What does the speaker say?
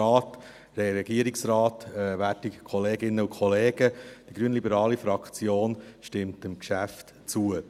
Die grünliberale Fraktion stimmt dem Geschäft zu.